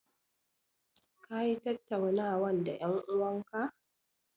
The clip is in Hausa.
Ka yi tattaunawan da en'uwan ka?